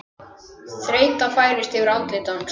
Þreyta færist yfir andlit hans.